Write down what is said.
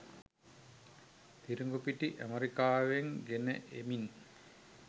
තිරිගුපිටි ඇමරිකාවෙන් ගෙන එමින්